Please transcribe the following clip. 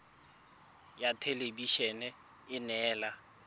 ya thelebi ene e neela